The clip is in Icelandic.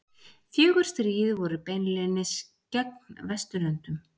Fjögur stríð voru beinlínis gegn Vesturlöndum.